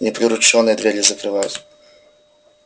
не приручён я двери закрывать